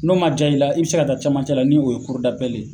N'o maa diya i la, i bɛ se ka taa camancɛ la, ni' o ye ye.